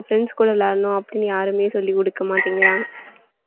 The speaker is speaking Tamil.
friends கூட விளையாடணும் அப்படின்னு யாருமே சொல்லிக் குடுக்கமாட்டேங்கிறாங்க